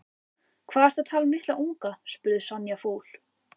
Hvað ertu að tala um litla unga? spurði Sonja fúl.